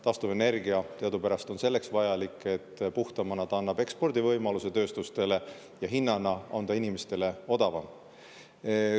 Taastuvenergia aga on teadupärast selleks vajalik, et puhtamana ta annab tööstustele ekspordivõimaluse ja selle hind on inimestele odavam.